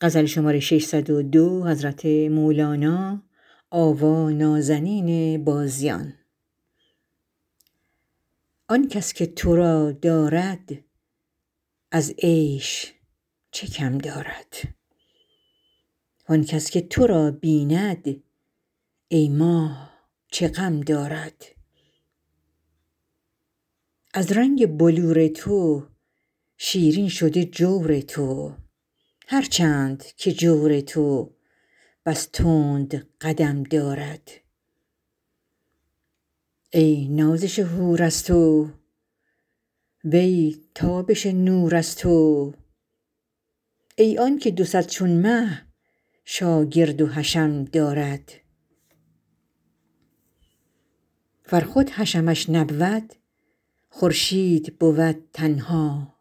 آن کس که تو را دارد از عیش چه کم دارد وان کس که تو را بیند ای ماه چه غم دارد از رنگ بلور تو شیرین شده جور تو هر چند که جور تو بس تند قدم دارد ای نازش حور از تو وی تابش نور از تو ای آنک دو صد چون مه شاگرد و حشم دارد ور خود حشمش نبود خورشید بود تنها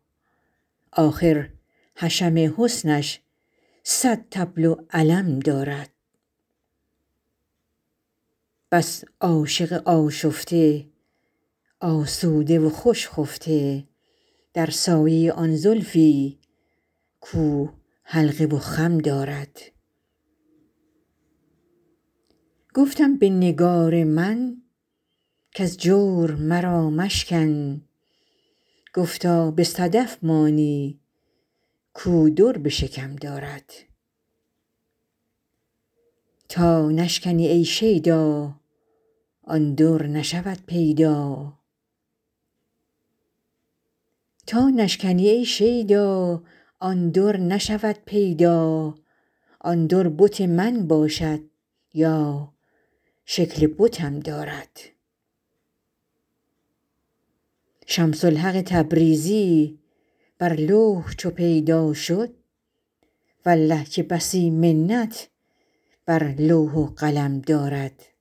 آخر حشم حسنش صد طبل و علم دارد بس عاشق آشفته آسوده و خوش خفته در سایه آن زلفی کو حلقه و خم دارد گفتم به نگار من کز جور مرا مشکن گفتا به صدف مانی کو در به شکم دارد تا نشکنی ای شیدا آن در نشود پیدا آن در بت من باشد یا شکل بتم دارد شمس الحق تبریزی بر لوح چو پیدا شد والله که بسی منت بر لوح و قلم دارد